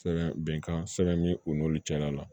Sɛbɛn bɛnkan sɛbɛn min u n'olu cɛla la